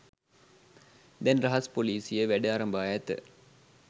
දැන් රහස් පොලීසිය වැඩ අරඹා ඇත